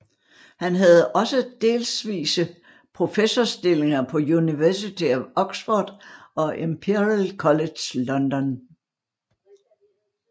Han havde også delvise professorstillinger på University of Oxford og Imperial College London